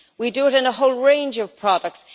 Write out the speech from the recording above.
We do it in a whole range of products.